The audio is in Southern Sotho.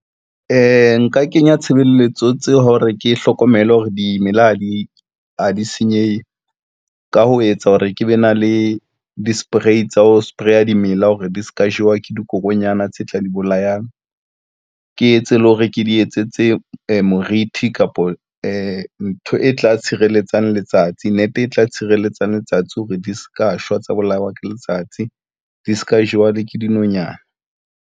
Nka kenya tshebeletso tse hore ke hlokomele hore dimela ha di senyehe, ka ho etsa hore ke be na le di-spray tsa ho spray dimela hore di se ka jewa ke dikokonyana tse tla di bolayang, ke etse le hore ke di etsetse moriti kapo e ntho e tla tshireletsang letsatsi net e tla tshireletsang letsatsi hore di se ka shwa tsa bolawa ke letsatsi di se ka jewa le ke dinonyana.